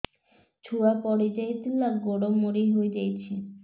ଛୁଆ ପଡିଯାଇଥିଲା ଗୋଡ ମୋଡ଼ି ହୋଇଯାଇଛି